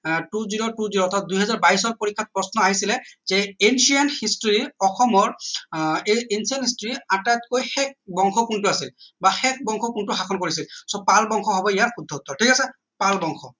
আহ two zero two zero অৰ্থাৎ দুই হেজাৰ বাইশৰ পৰীক্ষাত প্ৰশ্ন আহিছিলে সেই ancient history অসমৰ আহ এই ancient history আটাইতকৈ শেষ বংশ কোনটো আছিল বা শেষ বংশ কোনটো শাসন কৰিছিল so পাল বংশ হব ইয়াত শুদ্ধ উত্তৰ ঠিক আছে পাল বংশ